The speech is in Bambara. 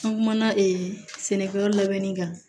An kumana e sɛnɛkɛyɔrɔ labɛnni kan